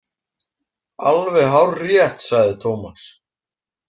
Alveg hárrétt, sagði Tómas.